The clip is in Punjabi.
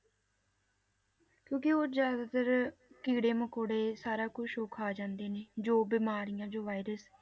ਕਿਉਂਕਿ ਉਹ ਜ਼ਿਆਦਾਤਰ ਕੀੜੇ ਮਕੌੜੇ ਸਾਰਾ ਕੁਛ ਉਹ ਖਾ ਜਾਂਦੇ ਨੇ, ਜੋ ਬਿਮਾਰੀਆਂ ਜੋ virus